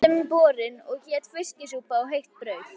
Þeim var öllum borin heit fiskisúpa og heitt brauð.